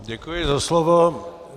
Děkuji za slovo.